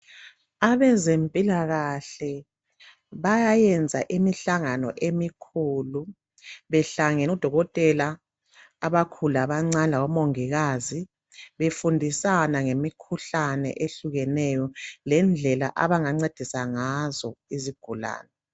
Abezempilakahle bayayenza imihlangano emikhulu behlangene odokotela abakhulu labancane labomongikazi befundisana ngemikhuhlane ehlukeneyo lendlela abangancedisa ngazo izigulane